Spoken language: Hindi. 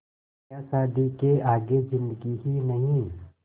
क्या शादी के आगे ज़िन्दगी ही नहीं